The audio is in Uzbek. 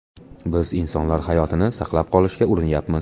Biz insonlar hayotini saqlab qolishga urinyapmiz.